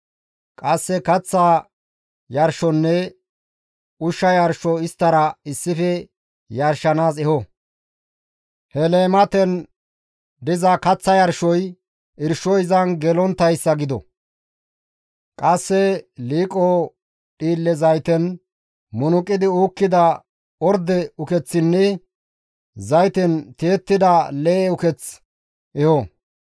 Qasse kaththa yarshonne ushsha yarsho isttara issife yarshanaas eho; he leematezan kaththa yarshoy irshoy izan gelonttayssa gido; qasse liiqo dhiille zayten munuqi uukkida orde ukeththinne zayten tiyettida lee7e uketh eho.